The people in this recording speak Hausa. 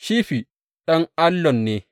Shifi ɗan Allon ne.